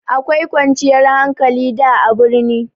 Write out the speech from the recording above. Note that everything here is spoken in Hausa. Akwai kwanciyar hankali da a birni.